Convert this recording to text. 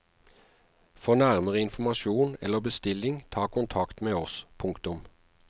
For nærmere informasjon eller bestilling ta kontakt med oss. punktum